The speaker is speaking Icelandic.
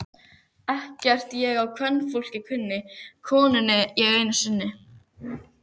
Ekkert ég á kvenfólk kunni, konunni ég einni unni.